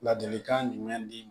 Ladilikan jumɛn di